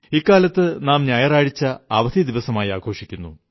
ഇക്കാലത്ത് നാം ഞായറാഴ്ച അവധി ദിവസമായി ആഘോഷിക്കുന്നു